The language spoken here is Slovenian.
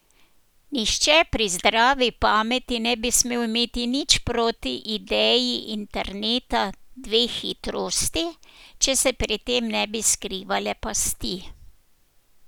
Nihče pri zdravi pameti ne bi smel imeti nič proti ideji interneta dveh hitrosti, če se pri tem ne bi skrivale pasti.